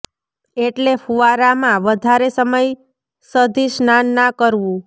એટલે ફુવારા માં વધારે સમય સધી સ્નાન નાં કરવું